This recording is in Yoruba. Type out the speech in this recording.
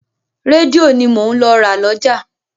Rédíò ni mò ń lọ ra lọ́jà.